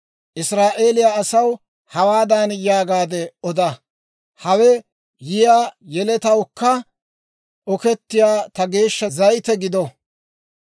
Israa'eeliyaa asaw hawaadan yaagaadde oda; ‹Hawe yiyaa yeletawukka okettiyaa ta geeshsha zayite gido;